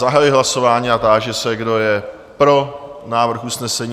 Zahajuji hlasování a táži se, kdo je pro návrh usnesení?